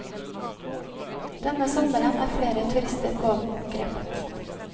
Denne sommeren er flere turister pågrepet.